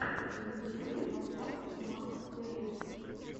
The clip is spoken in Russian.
в ютьюбе поставь макоплэя